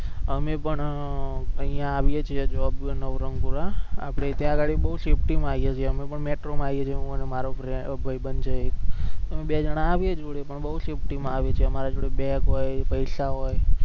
અમે પણ અહિયાં આવીએ છીએ નવરંગ પુરા ત્યાં ગાડી બૌ safety માં આવીએ છીએ પણ metro માં આવીએ છીએ હું અને મારો ભૈબંદ છે મારો એક બે જના આવીએ જોડે પણ બયું safety માં આવીએ છીએ અમારા જોડે બેગ હોય પૈસા હોય